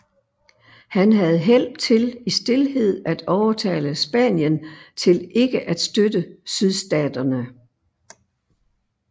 Han havde held til i stilhed at overtale Spanien til ikke at støtte Sydstaterne